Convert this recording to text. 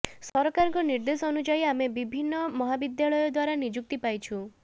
ସରକାରଙ୍କ ନିର୍ଦ୍ଦେଶ ଅନୁଯାୟୀ ଆମ୍ଭେ ବିଭିନ୍ନ ମହାବିଦ୍ୟାଳୟ ଦ୍ୱାରା ନିଯୁକ୍ତି ପାଇଛୁ